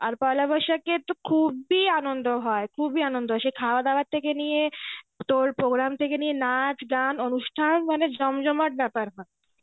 আর পয়লা বৈশাখে তো খুবই আনন্দ হয় খুবই আনন্দ হয় সেই খাওয়া দাওয়া থেকে নিয়ে তোর programme থেকে নিয়ে নাচ গান অনুষ্ঠান মানে জমজমাট ব্যাপার হয়.